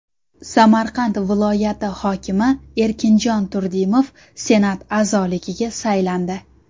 Samarqand viloyati hokimi Erkinjon Turdimov Senat a’zoligiga saylandi.